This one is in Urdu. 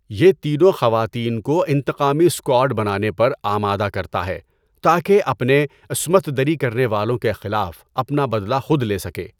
یہ تینوں خواتین کو انتقامی اسکواڈ بنانے پر آمادہ کرتا ہے تاکہ اپنے عصمت دری کرنے والوں کے خلاف اپنا بدلہ خود لے سکے۔